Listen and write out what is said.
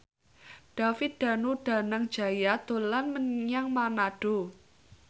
David Danu Danangjaya dolan menyang Manado